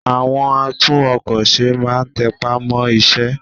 àwọn àtún-ọkọ̀-se má n tẹpá mọ́ iṣẹ́